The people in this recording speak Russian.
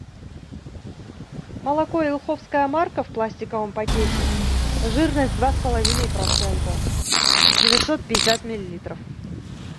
молоко елховская марка в пластиковом пакете жирность два с половиной процента девятьсот пятьдесят миллилитров